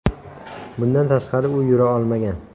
Bundan tashqari, u yura olmagan.